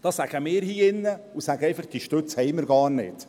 Da sagen wir hier in diesem Saal: «Diese Stütze haben wir gar nicht.»